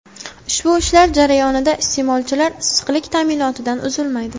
Ushbu ishlar jarayonida iste’molchilar issiqlik ta’minotidan uzilmaydi.